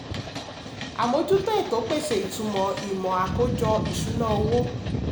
amójútó ètò pèsè ìtumọ̀ ìmò àkójọ ìṣúná owó.